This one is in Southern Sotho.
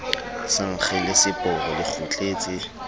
sa nkge leseporo le kgutletse